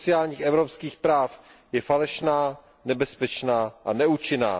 sociálních evropských práv je falešná, nebezpečná a neúčinná.